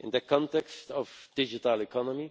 In the context of the digital economy,